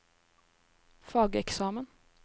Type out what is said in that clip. fageksamen